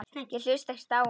Ég hlusta ekkert á hann.